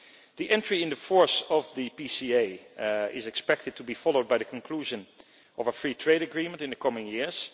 The entry into force of the PCA is expected to be followed by the conclusion of a free trade agreement in the coming years.